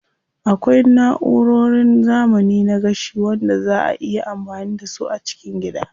Akwai na'urorin zamani na gashi wanda zaa a iya amfani da su a cikin gida.